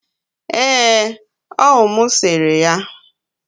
ee, owu m sere ya